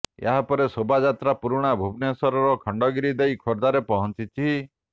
ଏହାପରେ ଶୋଭାଯାତ୍ରା ପୁରଣା ଭୁବନେଶ୍ୱର ଖଣ୍ଡଗିରି ଦେଇ ଖୋର୍ଦ୍ଧାରେ ପହଞ୍ଚିଛି